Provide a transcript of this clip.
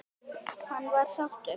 Hann var sáttur.